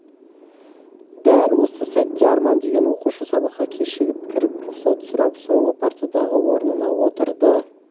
дәл осы сәтте арман деген оқушы сабаққа кешігіп кіріп рұқсат сұрап соңғы партадағы орнына отырды